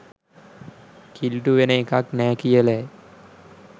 කිලූටු වෙන එකක් නෑ කියලයි.